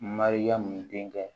Mariyamu denkɛ